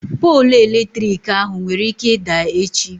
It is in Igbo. Poolụ eletrik ahụ nwere ike ịda echi.